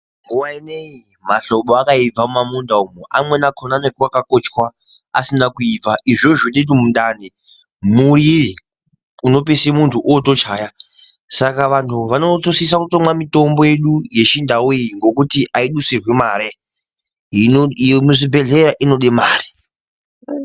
Nguwa inei mahlobo akaibva kumamunda uko, amweni akona anenge akakochwa asina kuibva izvozvo zviite kuti mundani murire zvinopeisire muntu otochaya saka vantu vanosisa kutomwa mitombo yedu yechindau iyi ngekuti aidusirwi mare yemuzvibhedhleya inode mare.